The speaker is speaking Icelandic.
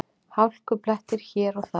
Hálkublettir hér og þar